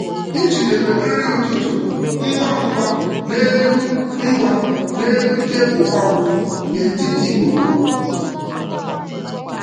M jidere nri ụtụtụ ngwa ụtụtụ ngwa ngwa n’elu tebụl ọrụ m n’etiti oku.